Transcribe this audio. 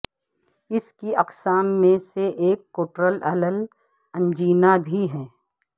اس کی اقسام میں سے ایک کوٹرالل انجینا بھی ہے